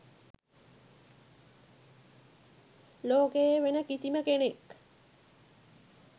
ලෝකයේ වෙන කිසිම කෙනෙක්